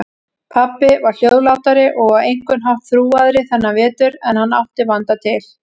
Pabbi var hljóðlátari og á einhvern hátt þrúgaðri þennan vetur en hann átti vanda til.